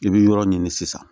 I bɛ yɔrɔ ɲini sisan